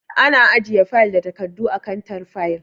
Ana ajiye fayil da takardu a kantar fayil.